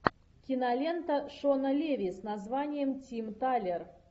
кинолента шона леви с названием тим талер